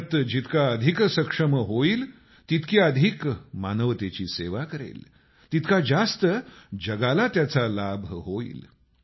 भारत जितका अधिक सक्षम होईल तितकी अधिक मानवतेची सेवा करेल तितका जास्त जगाला त्याचा लाभ होईल